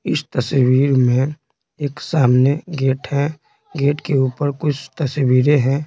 इस तस्वीर में एक सामने गेट है गेट के ऊपर कुछ तस्वीरें हैं।